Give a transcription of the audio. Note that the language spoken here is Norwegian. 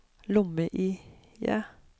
lomme-IE